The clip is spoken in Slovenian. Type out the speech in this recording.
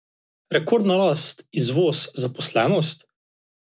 Rekordna rast, izvoz, zaposlenost?